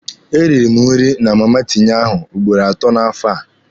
E rịrị m nri na Mama Tinye ahụ ugboro atọ n'afọ a.